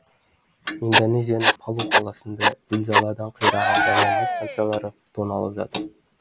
индонезияның палу қаласында зілзаладан қираған жанармай станциялары тоналып жатыр